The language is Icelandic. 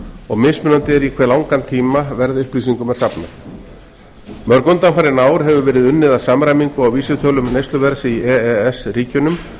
og mismunandi er í hve langan tíma verðupplýsingum er safnað mörg undanfarin ár hefur verið unnið að samræmingu á vísitölum neysluverðs í e e s ríkjunum